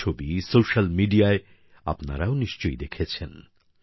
সেই ছবি সোশ্যাল মিডিয়ায় আপনারাও নিশ্চয়ই দেখেছেন